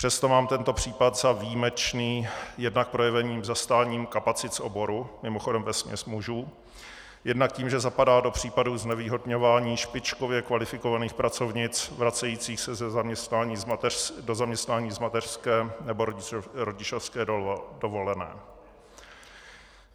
Přesto mám tento případ za výjimečný, jednak projeveným zastáním kapacit z oboru, mimochodem vesměs mužů, jednak tím, že zapadá do případů znevýhodňování špičkově kvalifikovaných pracovnic vracejících se do zaměstnání z mateřské nebo rodičovské dovolené.